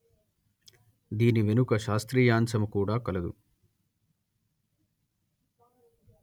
దీని వెనుక శాస్త్రీయాంశము కూడా కలదు